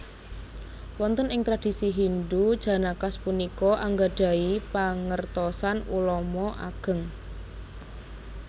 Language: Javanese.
Wonten ing tradisi Hindu Janakas punika anggadhahi pangertosan ulama ageng